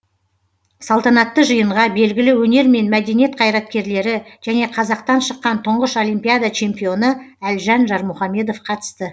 салтанатты жиынға белгілі өнер мен мәдениет қайраткерлері және қазақтан шыққан тұңғыш олимпиада чемпионы әлжан жармұхамедов қатысты